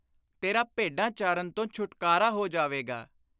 ਤੇਰਾ ਭੇਡਾਂ ਚਾਰਨ ਤੋਂ ਛੁਟਕਾਰਾ ਹੋ ਜਾਵੇਗਾ।